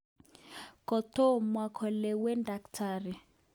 Kotomo kelewen Dkt.